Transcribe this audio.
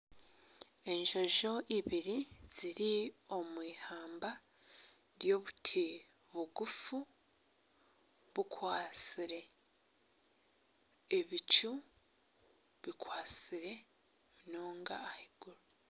Enjojo ibiri ziri omu ihamba ry'obuti bugufu bukwatsire ebicu bikwatsire munonga ahaiguru.